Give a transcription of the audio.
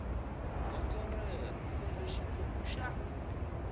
gondzo rero kumbe xiphemu xa